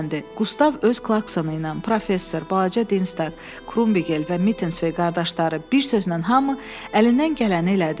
Qustav öz klaksonuyla, professor, balaca Dinzdaq, Krumbigel və Mittensve qardaşları bir sözlə hamı əlindən gələni elədi.